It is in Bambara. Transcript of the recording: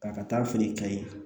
K'a ka taa feere kɛ yen